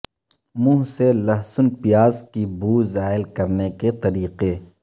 منہ سے لہسن پیاز کی بو زائل کرنے کے طریقے